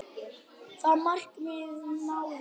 Það markmið náðist.